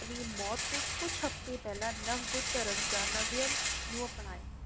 ਆਪਣੀ ਮੌਤ ਤੋਂ ਕੁਝ ਹਫ਼ਤੇ ਪਹਿਲਾ ਨਵ ਬੁੱਧ ਧਰਮ ਜਾ ਨਵਿਯਨ ਨੂੰ ਅਪਨਾਇਆ